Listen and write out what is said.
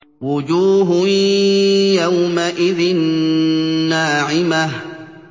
وُجُوهٌ يَوْمَئِذٍ نَّاعِمَةٌ